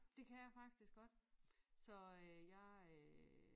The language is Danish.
Det kan jeg faktisk godt så jeg øh